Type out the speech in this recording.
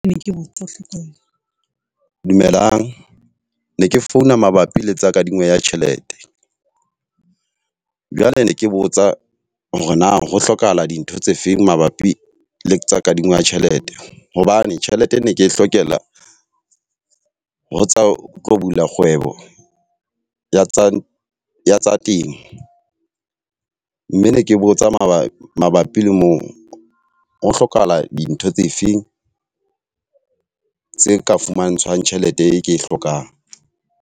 dumelang, ne ke founa mabapi le tsa kadimo ya tjhelete. Jwale ne ke botsa hore na ho hlokahala dintho tse feng mabapi le tsa kadimo ya tjhelete? Hobane tjhelete ne ke e hlokela ho tsa ho bula kgwebo ya tsa temo. Mme ne ke botsa mabapi mabapi le moo. Ho hlokahala dintho tse feng tse ka fumantshwang tjhelete e ke e hlokang?